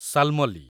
Shalmali